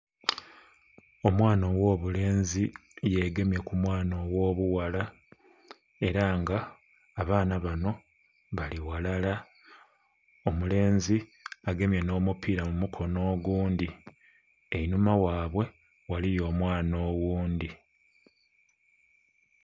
Omwaana ogho bulenzi ye gemye ku omwaana ogho bughala era nga abaana banho bali ghalala, omulenzi agemye nho mupira mu mukono ogundhi einhuma ghaibwe ghaliyo omwaana oghundhi.